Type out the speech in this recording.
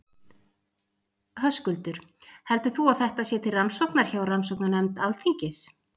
Höskuldur: Heldur þú að þetta sé til rannsóknar hjá rannsóknarnefnd Alþingis?